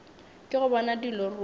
ke go bona dilo ruri